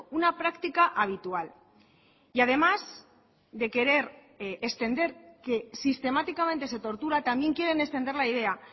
una práctica habitual y además de querer extender que sistemáticamente se tortura también quieren extender la idea